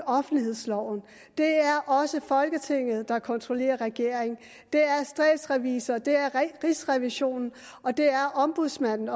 offentlighedsloven det er også folketinget der kontrollerer regeringen det er statsrevisor det er rigsrevisionen og det er ombudsmanden